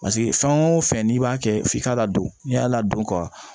Paseke fɛn o fɛn n'i b'a kɛ f'i k'a ladon n'i y'a ladon ka